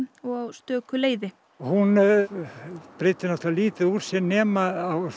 og á stöku leiði hún breiddi lítið úr sér nema